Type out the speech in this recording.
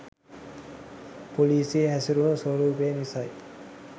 පොලිසිය හැසිරුණ ස්‌වරූපය නිසයි.